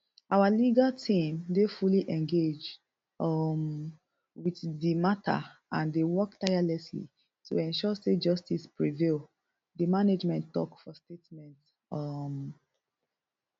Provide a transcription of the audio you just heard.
our legal team dey fully engaged um wit di mata and dey work tirelessly to ensure say justice prevail di management tok for statement um